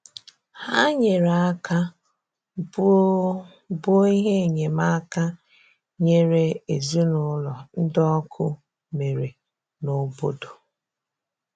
Hà nyere aka bùo bùo ihe enyemáka nyèrè ezinụlọ̀ ndị ọkụ mere n’obodo.